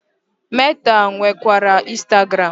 Meta nwekwara Instagram.